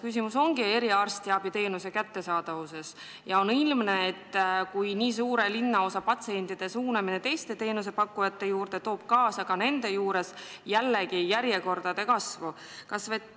Küsimus on eriarstiabiteenuse kättesaadavuses ja on ilmne, et nii suure linnaosa patsientide suunamine teiste teenusepakkujate juurde toob jällegi kaasa järjekordade kasvu.